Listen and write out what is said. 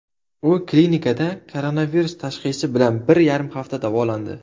U klinikada koronavirus tashxisi bilan bir yarim hafta davolandi.